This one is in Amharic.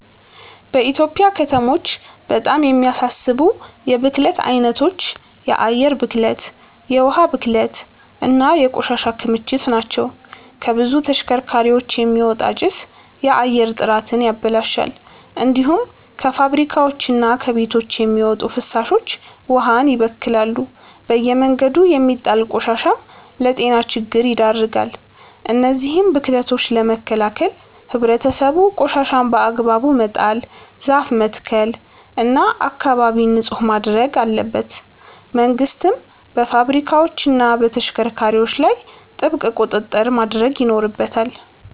በኢትዮጵያ ከተሞች በጣም የሚያሳስቡ የብክለት አይነቶች የአየር ብክለት፣ የውሃ ብክለት እና የቆሻሻ ክምችት ናቸው። ከብዙ ተሽከርካሪዎች የሚወጣ ጭስ የአየር ጥራትን ያበላሻል። እንዲሁም ከፋብሪካዎችና ከቤቶች የሚወጡ ፍሳሾች ውሃን ይበክላሉ። በየመንገዱ የሚጣል ቆሻሻም ለጤና ችግር ይዳርጋል። እነዚህን ብክለቶች ለመከላከል ህብረተሰቡ ቆሻሻን በአግባቡ መጣል፣ ዛፍ መትከል እና አካባቢን ንጹህ ማድረግ አለበት። መንግስትም በፋብሪካዎችና በተሽከርካሪዎች ላይ ጥብቅ ቁጥጥር ማድረግ ይኖርበታል።